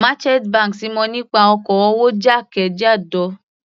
Merchant banks mọ̀ nípa oko-òwò jákèjádò.